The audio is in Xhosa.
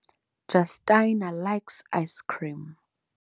Justyna likes icecream.